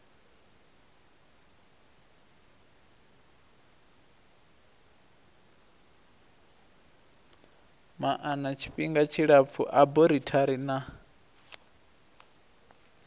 maana tshifhinga tshilapfu aborithari na